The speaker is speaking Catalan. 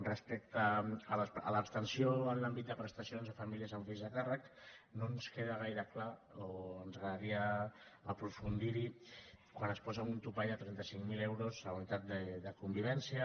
respecte a l’abstenció en l’àmbit de prestacions a famílies amb fills a càrrec no ens queda gaire clar o ens agradaria aprofundir hi quan es posa un topall de trenta cinc mil euros a la unitat de convivència